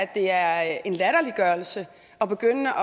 det er en latterliggørelse at begynde